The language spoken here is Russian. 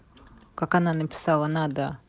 как она написала надо